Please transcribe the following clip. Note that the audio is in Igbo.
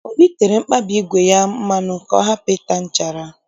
Obi tere mkpabi ígwè ya mmanụ ka ọ hapụ ịta nchara